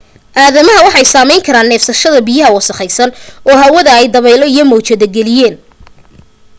aadamaha waxay saameyn kara neefsashada biyo wasakhaysan oo hawada ay dabaylo iyo mawjado geliyeen